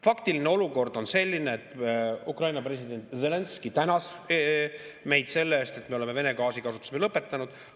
Faktiline olukord on selline, et Ukraina president Zelenskõi tänas meid selle eest, et me oleme Vene gaasi kasutamise lõpetanud.